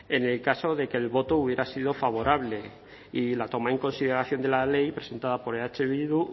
en el caso de que el voto hubiera sido favorable y la toma en consideración de la ley presentada por eh bildu